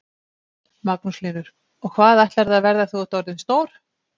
Magnús Hlynur: Og hvað ætlarðu að verða þegar þú ert orðin stór?